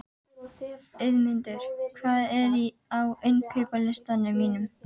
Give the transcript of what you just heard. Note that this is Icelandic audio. Auðmundur, hvað er á innkaupalistanum mínum?